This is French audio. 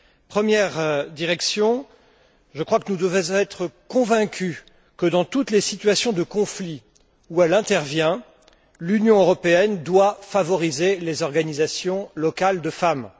Première direction je crois que nous devons être convaincus que dans toutes les situations de conflit où elle intervient, l'Union européenne doit favoriser les organisations locales de femmes.